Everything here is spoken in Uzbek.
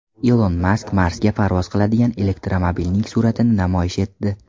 Ilon Mask Marsga parvoz qiladigan elektromobilning suratini namoyish etdi.